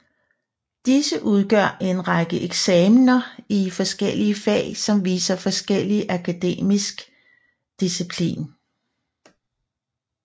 Disse udgør en række eksamener i forskellige fag som viser forskellig akademisk disciplin